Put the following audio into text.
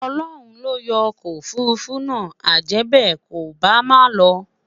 Ọlọhun loyo okò òfurufú nà, ajèbe, kò bá má ló